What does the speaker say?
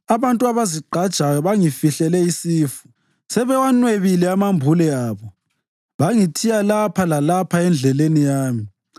Abantu abazigqajayo bangifihlele isifu; sebewanwebile amambule abo bangithiya lapha lalapha endleleni yami.